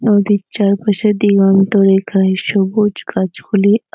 নদীর চারপাশে দিগন্তরেখায় সবুজ গাছগুলি--